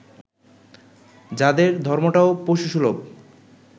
যাদের ধর্মটাও পশুসুলভ